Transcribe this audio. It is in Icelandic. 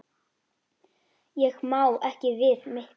Ég má ekki við miklu.